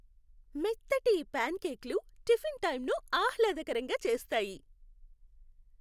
మెత్తటి ఈ ప్యాన్కేక్లు టిఫిన్ టైంను ఆహ్లాదకరంగా చేస్తాయి.